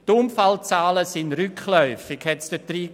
Die Unfallzahlen sind rückläufig, hiess es dort.